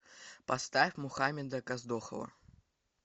поставь мухамеда каздохова